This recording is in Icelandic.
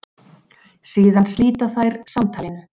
Síðan slíta þær samtalinu.